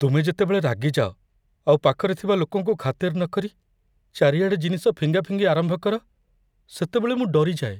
ତୁମେ ଯେତେବେଳେ ରାଗିଯାଅ, ଆଉ ପାଖରେ ଥିବା ଲୋକଙ୍କୁ ଖାତିର ନକରି ଚାରିଆଡ଼େ ଜିନିଷ ଫିଙ୍ଗାଫିଙ୍ଗି ଆରମ୍ଭ କର, ସେତେବେଳେ ମୁଁ ଡରିଯାଏ।